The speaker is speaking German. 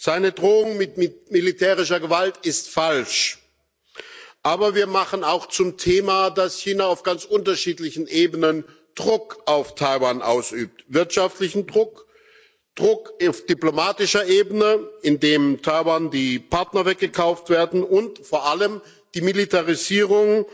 Seine Drohung mit militärischer Gewalt ist falsch. Aber wir machen auch zum Thema, dass China auf ganz unterschiedlichen Ebenen Druck auf Taiwan ausübt wirtschaftlichen Druck, Druck auf diplomatischer Ebene, indem Taiwan die Partner weggekauft werden, und vor allem die Militarisierung